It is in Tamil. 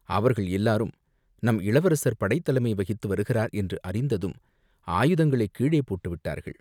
அவர்கள் எல்லாரும் நம் இளவரசர் படைத்தலைமை வகித்து வருகிறார் என்று அறிந்ததும் ஆயுதங்களைக் கீழே போட்டுவிட்டார்கள்.